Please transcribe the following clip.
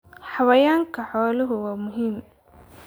Xayawaanka xooluhu waa muhiim.